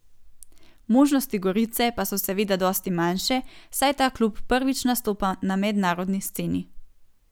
Možnosti Gorice pa so seveda dosti manjše, saj ta klub prvič nastopa na mednarodni sceni.